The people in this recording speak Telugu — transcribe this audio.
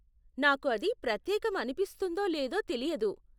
నాకు అది ప్రత్యేకం అనిపిస్తుందో లేదో తెలియదు.